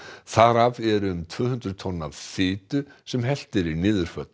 þar af eru um tvö hundruð tonn af fitu sem hellt er í niðurföll